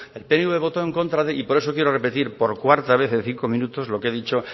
el pnv votó en contra de y por eso quiero repetir por cuarta vez en cinco minutos lo que he dicho